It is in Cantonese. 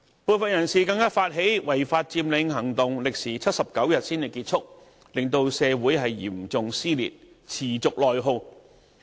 部分人士更發起違法佔領行動，歷時79天才結束，令社會嚴重撕裂，持續內耗。